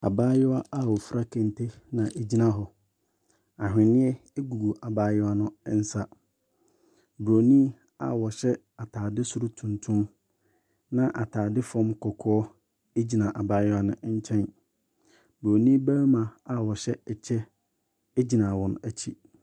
Abaayewa a ofira kente na ogyina hɔ. Ahweneɛ egu abaayewa no nsa. Broni a ɔhyɛ ataade soro tuntum ne ataade fam kɔkɔɔ egyina abaayewa no nkyɛn. Broni bɛrima a ɔhyɛ ɛkyɛ egyina wɔn akyi.